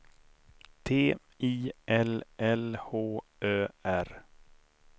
T I L L H Ö R